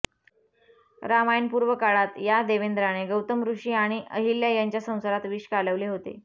रामायणपूर्व काळात या देवेंद्राने गौतम ऋषी आणि अहिल्या यांच्या संसारात विष कालवले होते